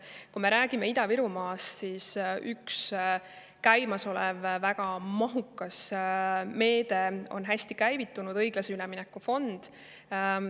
Kui me räägime Ida-Virumaast, siis üks väga mahukas meede on hästi käivitunud, see on õiglase ülemineku fond.